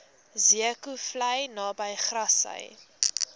zeekoevlei naby grassy